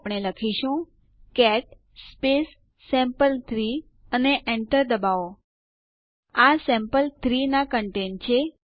અહીં સિસ્ટમ સંચાલનના બેઝિક્સ ઉપર ના આ ટ્યુટોરીયલ સમાપ્ત થાય છે